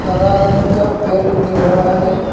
हरा रंग का पेड़ दिख रहा है।